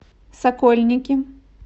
сокольники